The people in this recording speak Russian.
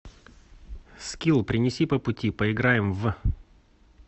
скилл принеси по пути поиграем в